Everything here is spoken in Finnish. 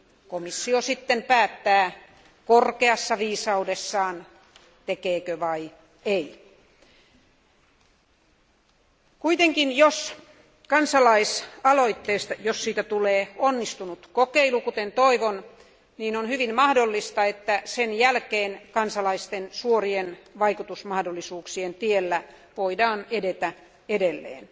Komissio sitten päättää korkeassa viisaudessaan, tekeekö se vai ei. Jos kansalaisaloitteesta tulee onnistunut kokeilu, kuten toivon, on hyvin mahdollista, että sen jälkeen kansalaisten suorien vaikutusmahdollisuuksien tiellä voidaan edetä edelleen.